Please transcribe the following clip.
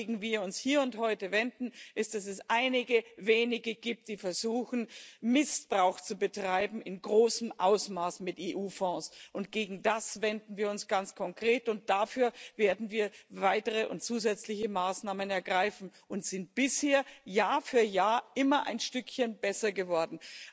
Wogegen wir uns hier und heute wenden, ist, dass es einige wenige gibt, die versuchen, in großem Ausmaß Missbrauch mit EU Fonds zu betreiben. Gegen das wenden wir uns ganz konkret und dafür werden wir weitere und zusätzliche Maßnahmen ergreifen und sind bisher Jahr für Jahr immer ein Stückchen besser geworden.